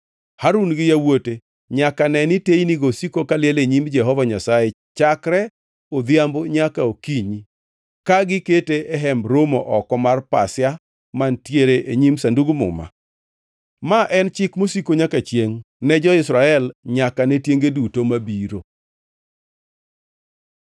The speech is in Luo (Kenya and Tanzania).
Harun gi yawuote nyaka neni teynigo osiko kaliel e nyim Jehova Nyasaye chakre odhiambo nyaka okinyi, ka gikete e Hemb Romo oko mar pasia mantiere e nyim Sandug Muma. Ma en chik mosiko nyaka chiengʼ ne jo-Israel nyaka ne tienge duto mabiro.